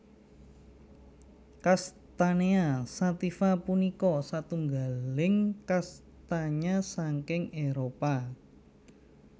Castanea sativa punika satunggaling kastanya saking Éropah